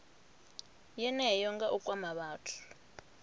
yeneyo nga u kwama vhathu